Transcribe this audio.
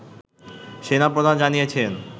সেনা প্রধান জানিয়েছেন